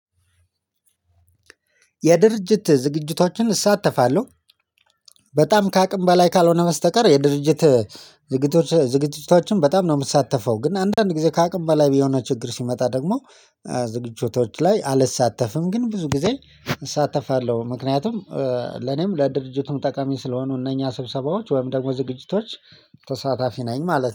የድርጅት ዝግጅቶችን እሳተፋለሁ። በጣም ከአቅም በላይ ካልሆነ በስተቀር የድርጅት ዝግጅቶች ዝግጅቶችን በጣም ነው የምትሳተፈው? ግን አንዳንድ ጊዜ ከአቅም በላይ ቢሆን ችግር ሲመጣ ደግሞ ዝግጅቶች ላይ አልሳተፍም። ግን ብዙ ጊዜ እሳተፋለሁ። ምክንያቱም ለኔም ለድርጅቱም ጠቃሚ ስለሆኑ እነኛ ስብሰባዎች ወይም ደግሞ ዝግጅቶች ተሳታፊ ነኝ ማለት ነው